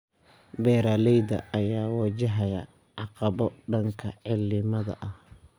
Beeralayda ayaa wajahaya caqabado dhanka cimilada ah.